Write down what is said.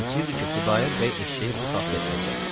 And içirdi ki, Xudayar bəy eşşəyi bu saat gətirəcək.